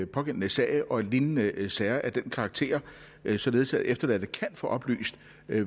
pågældende sag og i lignende sager af den karakter således at efterladte kan få oplyst